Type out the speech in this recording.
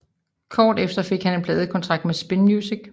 Kort efter fik han en pladekontrakt med Spin Music